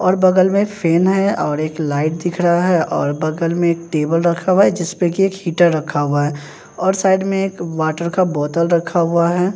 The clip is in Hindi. और बगल में फैन है और एक लाइट दिख रहा है और बगल में एक टेबल रखा हुआ है जिसपे कि एक हीटर रखा हुआ है और साइड में एक वाटर का बोतल रखा हुआ है।